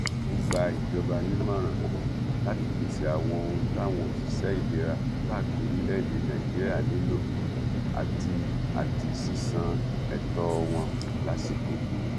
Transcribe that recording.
ó gba ìjọba nímọràn láti pèsè àwọn ohun táwọn òṣìṣẹ ìlera káàkiri orílẹèdè nàíjíríà nílò àti àti sísan ètò wọn lásìkò